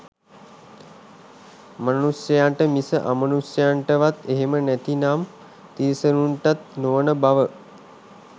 මනුෂයන්ට මිස අමනුෂයන්ටවත් එහෙම නැතිනම් තිරිසනුන්ටත් නොවන බව.